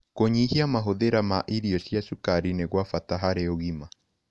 Kũnyĩhĩa mahũthĩra ma irio cia cũkarĩ nĩ gwa bata harĩ ũgima